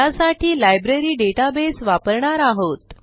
त्यासाठी library database वापरणार आहोत